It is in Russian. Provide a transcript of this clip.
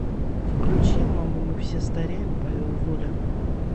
включи мама мы все стареем павел воля